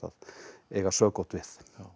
eiga sökótt við